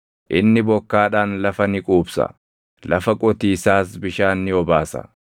Inni bokkaadhaan lafa ni quubsa; lafa qotiisaas bishaan ni obaasa.